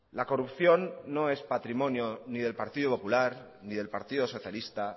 la corrupción no es patrimonio ni del partido popular ni del partido socialista